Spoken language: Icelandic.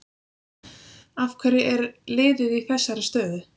Af hverju er liðið í þessari stöðu?